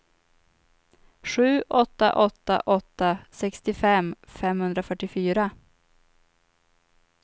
sju åtta åtta åtta sextiofem femhundrafyrtiofyra